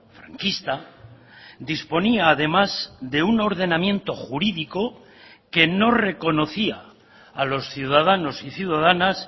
franquista disponía además de un ordenamiento jurídico que no reconocía a los ciudadanos y ciudadanas